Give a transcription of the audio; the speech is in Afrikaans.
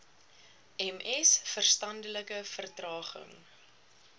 ms verstandelike vertraging